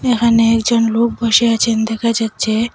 এখানে একজন লোক বসে আছেন দেখা যাচ্ছে।